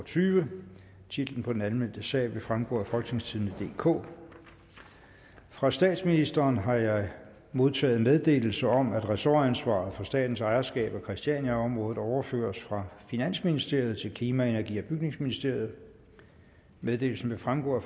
og tyve titlen på den anmeldte sag vil fremgå af folketingstidende DK fra statsministeren har jeg modtaget meddelelse om at ressortansvaret for statens ejerskab af christiania området overføres fra finansministeriet til klima energi og bygningsministeriet meddelelsen vil fremgå af